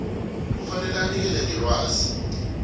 kufanele anikele ngelwazi